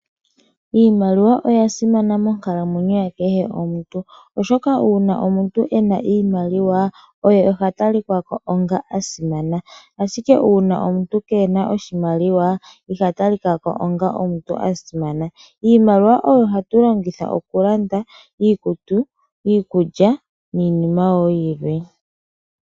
Iimaliwa oyasimana monkalamwenyo yakehe omuntu, oshoka uuna omuntu ena iimaliwa oye ha talikwako onga omuntu asimana . Ashike uuna omuntu keena oshimaliwa iha talikako onga omuntu asimana. Iimaliwa oyo hatu longitha okulanda iikutu , iikulya niima wo yilwe.